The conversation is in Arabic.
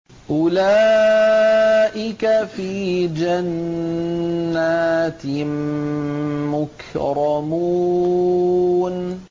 أُولَٰئِكَ فِي جَنَّاتٍ مُّكْرَمُونَ